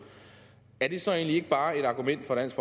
er det så egentlig ikke bare et argument for dansk